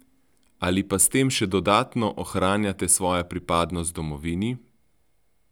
Ali pa s tem še dodatno ohranjate svojo pripadnost domovini?